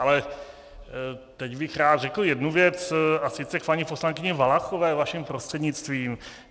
Ale teď bych rád řekl jednu věc, a sice k paní poslankyni Valachové vaším prostřednictvím.